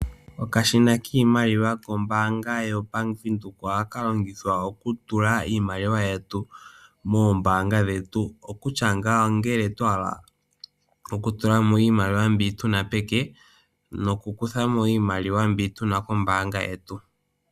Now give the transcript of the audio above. Okashina kiimaliwa kombanga YaVenduka ohaka longithwa okutulamo iimaliwa moombanga dhetu okutya ngaa ongele twahala okutulamo mbi tuna peke nokukuthamo iimaliwa mbyoka tuna koombanga dhetu.